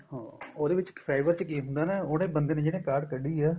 ਹਾਂ ਉਹਦੇ ਵਿੱਚ fiber ਚ ਕੀ ਹੁੰਦਾ ਨਾ ਉਹਨੇ ਬੰਦੇ ਨੇ ਜਿੰਨੇ ਕਾਡ ਕੱਡੀ ਏ